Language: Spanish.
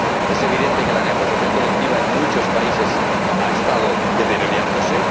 Es evidente que la negociación colectiva en muchos países ha estado deteriorándose.